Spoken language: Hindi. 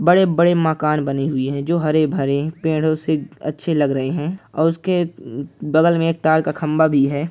बड़े-बड़े मकान बने हुए है जो हरे-भरे पेड़ों से अच्छे लग रहे है और उसके बगल में एक तार का खंभा भी है।